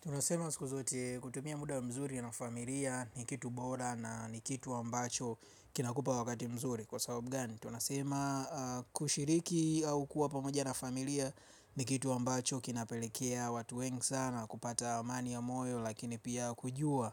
Tunasema siku zote kutumia muda mzuri na familia ni kitu bora na ni kitu ambacho kinakupa wakati mzuri kwa sababu gani. Tunasema kushiriki au kuwa pamoja na familia ni kitu ambacho kinapelekea watu wengi sana kupata amani ya moyo lakini pia kujua.